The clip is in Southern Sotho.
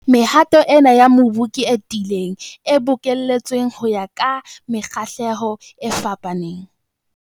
Mehato ena ya mobu ke e tiileng, e bokelletsweng ho ya ka mekgahlelo e fapaneng.